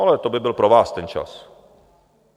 Ale to by byl pro vás ten čas.